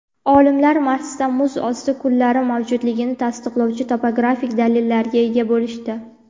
Olimlar Marsda muz osti ko‘llari mavjudligini tasdiqlovchi topografik dalillarga ega bo‘lishdi.